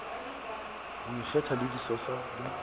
ho ikgetha ho disosa le